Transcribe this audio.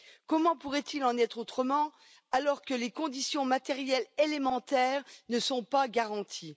Comment pourrait il en être autrement alors que les conditions matérielles élémentaires ne sont pas garanties?